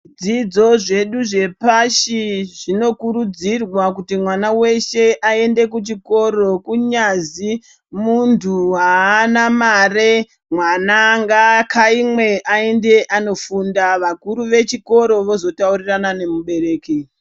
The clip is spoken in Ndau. Dzidzo zvedu zvepashi zvinokurudzirwa kuzi mwana weshe aende kuchikoro kunyazi munthu aana mare mwana ngaakaimwe aende anofunda vakuru vechikoro vozotaurirana nemubereki.